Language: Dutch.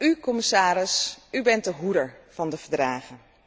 U, commissaris, bent de hoeder van de Verdragen.